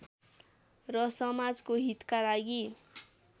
र समाजको हितका लागि